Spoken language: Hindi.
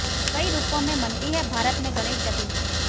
कई रूपों में मनती है भारत में गणेश चतुर्थी